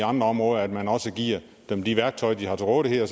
andre områder at man også giver dem de værktøjer de har til rådighed og